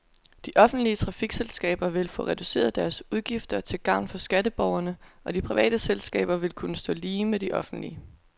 De offentlige trafikselskaber vil få reduceret deres udgifter til gavn for skatteborgerne, og de private selskaber vil kunne stå lige med de offentlige.